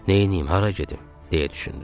Neynəyim, hara gedim, deyə düşündüm.